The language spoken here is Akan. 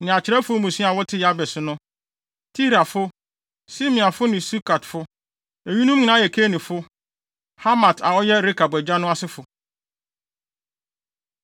ne akyerɛwfo mmusua a wɔte Yabes no, Tirafo, Simeafo ne Sukatfo. Eyinom nyinaa yɛ Kenifo, Hamat a ɔyɛ Rekab agya no asefo.